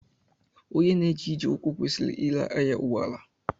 Onye na-eje ije ụkwụ kwesịiri ile anya ụgbọala